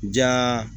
Ja